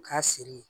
U k'a siri